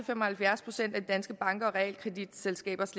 fem og halvfjerds procent af de danske bankers og realkreditselskabers